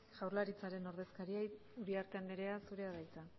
jaurlaritzaren ordezkaria uriarte andrea zurea da hitza